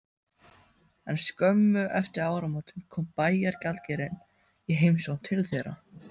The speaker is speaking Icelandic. En skömmu eftir áramótin kom bæjargjaldkerinn í heimsókn til þeirra.